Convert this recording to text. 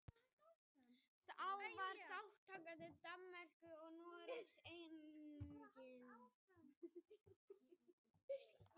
Þá var þátttaka Danmerkur og Noregs einnig lykilatriði í ákvörðun Íslands.